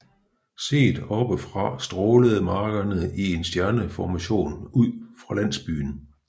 Set oppe fra strålede markerne i en stjerneformation ud fra landsbyen